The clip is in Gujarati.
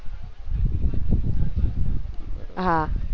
હા